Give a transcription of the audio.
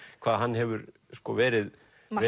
hvað hann hefur verið